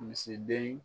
Misiden